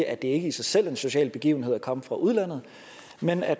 at det ikke i sig selv er en social begivenhed at komme fra udlandet men at